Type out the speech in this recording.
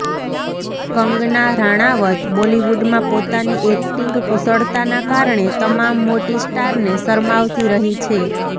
કંગના રાણાવત બોલિવુડમાં પોતાની એક્ટિંગ કુશળતાના કારણે તમામ મોટી સ્ટારને શરમાવતી રહી છે